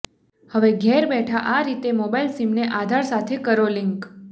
હવે ઘેર બેઠા આ રીતે મોબાઇલ સિમને આધાર સાથે કરો લિન્ક